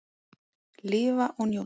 Lifa og njóta.